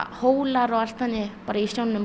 hólar og allt þannig bara í sjónum